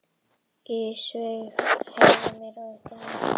Ísveig, heyrðu í mér eftir nítján mínútur.